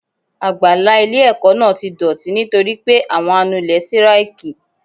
Àgbàlá ilé ẹ̀kọ́ náà ti dọ̀tí nítorí pé àwọn anulé síráìkì.